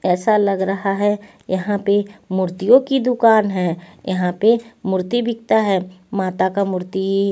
ऐसा लग रहा है यहां पे मूर्तियों की दुकान है यहां पे मूर्ति बिकता है माता का मूर्ति--